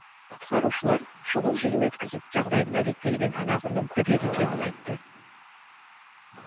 құтқарушылар шұғыл жиын өткізіп жағдайдың әдеттегіден анағұрлым күрделі екенін айтты